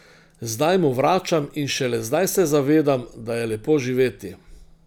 Zdaj mu vračam in šele zdaj se zavedam, da je lepo živeti.